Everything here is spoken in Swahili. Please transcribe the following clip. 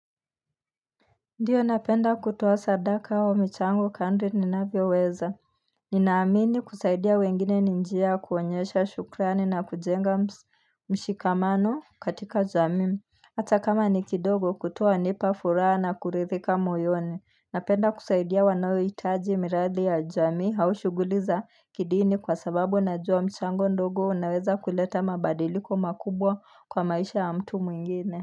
Ndio napenda kutuwa sadaka hawa michango kadri ninavyo weza Ninaamini kusaidia wengine ni njia kuonyesha shukrani na kujenga mshikamano katika jamii Hata kama ni kidogo kutoa nipa furaha na kuridhika moyoni. Napenda kusaidia wanaohitaji miradi ya jamii au shughuli za kidini kwa sababu najua mchango ndogo unaweza kuleta mabadiliko makubwa kwa maisha ya mtu mwingine.